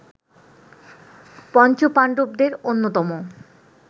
পঞ্চপাণ্ডবদের অন্যতম